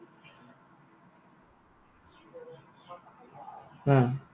আ।